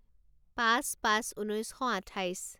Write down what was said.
পাঁচ পাঁচ ঊনৈছ শ আঠাইছ